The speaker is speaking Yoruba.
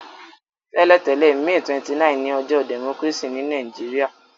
Tẹ́lẹ̀tẹ̀lẹ́, May 29 ni ojọ́ democracy ni Naijiria